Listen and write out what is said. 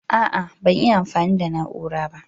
ah ah ban iya amfani da na'ura ba